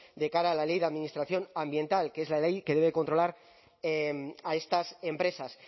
de cara a la ley de administración ambiental que es la ley que debe controlar a estas empresas